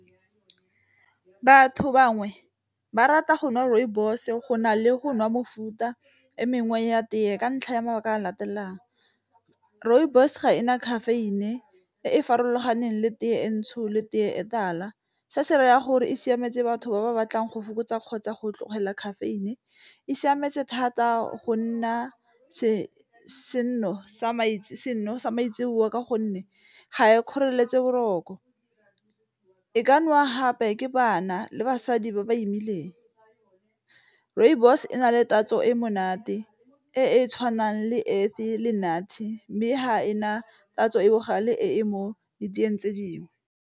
Batho bangwe ba rata go nwa rooibos go na le go nwa mofuta e mengwe ya tee ka ntlha ya mabaka a latelang, rooibos ga e na caffeine e e farologaneng le tee e ntsho le tee e tala, se se raya gore e siametse batho ba ba batlang go fokotsa kgotsa go tlogela caffeine, e siametse thata go nna seno sa maitseboa ka gonne ga e kgoreletsi boroko, e ka nowa gape ke bana le basadi ba ba imileng rooibos e na le tatso e monate e e tshwanang le fa le monate mme e ga e na tatso ee bogale e mo diteeng tse dingwe.